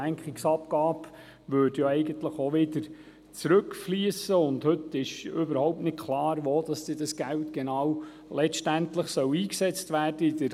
Denn eine Lenkungsabgabe würde ja eigentlich auch wieder zurückfliessen, aber heute ist überhaupt nicht klar, wo das Geld dann letztendlich genau eingesetzt werden soll.